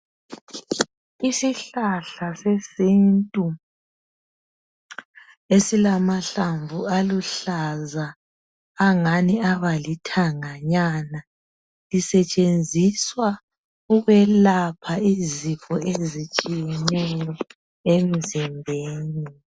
Isihlahla sesintu esilamahlamvu aluhlaza, angani abalithanga nyana lisetshenziswa ukwelapha izifo ezitshiyeneyo emzimbeni.